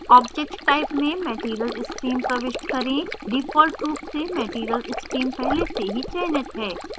object type में material stream प्रविष्ट करें default रूप से material stream पहले से ही चयनित है